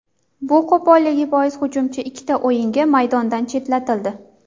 Bu qo‘polligi bois hujumchi ikkita o‘yinga maydondan chetlatildi.